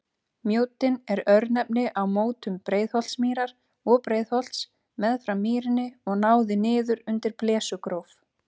Mjóddin er örnefni á mótum Breiðholtsmýrar og Breiðholts, meðfram mýrinni og náði niður undir Blesugróf.